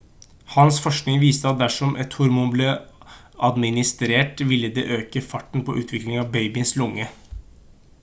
hans forskning viste at dersom et hormon ble administrert ville det øke farten på utviklingen av babyens lunge